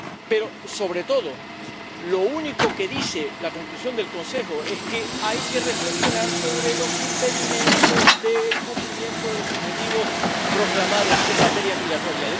Pero sobre todo, lo único que dice la conclusión del Consejo Europeo es que hay que reflexionar sobre los impedimentos del cumplimiento de los objetivos proclamados en materia migratoria.